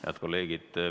Head kolleegid!